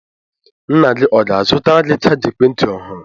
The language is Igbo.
Nna gị ọ ga-azụtara gị chaja ekwentị ọhụrụ?